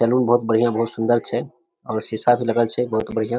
Salon बहुत बढ़िया बहुत सुंदर छै और शीशा भी लगल छै बहुत बढ़िया।